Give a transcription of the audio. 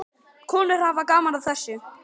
Konur hafa gaman af þessu.